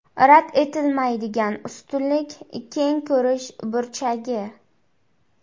Rad etilmaydigan ustunlik keng ko‘rish burchagi.